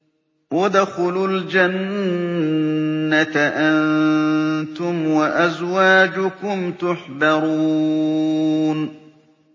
ادْخُلُوا الْجَنَّةَ أَنتُمْ وَأَزْوَاجُكُمْ تُحْبَرُونَ